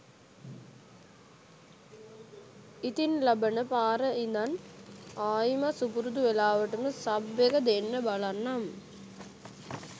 ඉතින් ලබන පාර ඉදන් ආයිමත් සුපුරුදු වෙලාවටම සබ් එක දෙන්න බලන්නම්.